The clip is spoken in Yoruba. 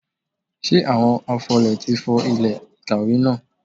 Ṣé àwọn afọlẹ̀ ti fọ ilẹ̀ ìkàwé náà?